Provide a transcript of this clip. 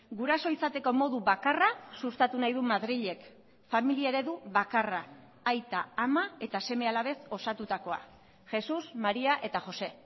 guraso izateko modu bakarra sustatu nahi du madrilek familia eredu bakarra aita ama eta seme alabez osatutakoa jesús maría eta josé